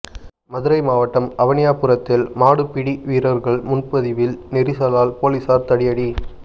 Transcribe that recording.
மதுரை மாவட்டம் அவனியாபுரத்தில் மாடுபிடி வீரர்கள் முன்பதிவில் நெரிசலால் போலீஸார் தடியடி